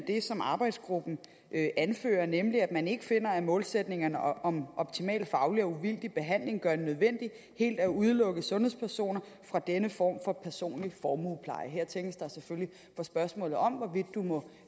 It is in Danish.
i det som arbejdsgruppen anfører nemlig at den ikke finder at målsætningerne om optimal faglig og uvildig behandling gør det nødvendigt helt at udelukke sundhedspersoner fra denne form for personlig formuepleje her tænkes der selvfølgelig på spørgsmålet om hvorvidt man må